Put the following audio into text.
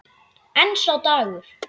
En sá dagur!